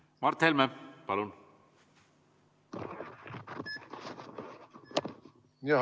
Mart Helme, palun!